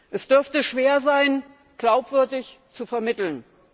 Es dürfte schwer sein, glaubwürdig zu vermitteln.